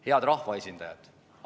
Head rahvaesindajad!